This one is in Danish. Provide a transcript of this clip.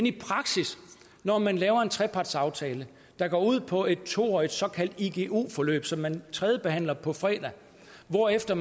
i praksis når man laver en trepartsaftale der går ud på et to årig t såkaldt igu forløb som man tredjebehandler på fredag hvorefter